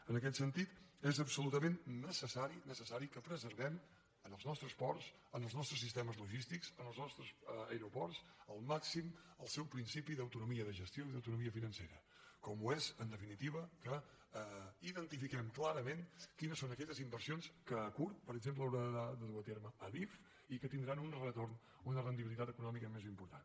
en aquest sentit és absolutament necessari necessari que preservem als nostres ports als nostres sistemes logístics als nostres aeroports al màxim el seu principi d’autonomia de gestió i d’autonomia financera com ho és en definitiva que identifiquem clarament quines són aquelles inversions que a curt per exemple haurà de dur a terme adif i que tindran un retorn una rendibilitat econòmica més important